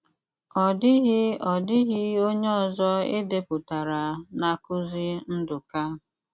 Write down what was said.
Ọ́ dị́ghị Ọ́ dị́ghị ónyé ọ̀zọ é dépútará n’ákụkọ́ Nduká.